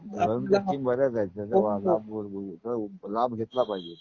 Government scheme बऱ्याच आहेत. ज्याचा लाभ होईल लाभ घेतला पाहिजे.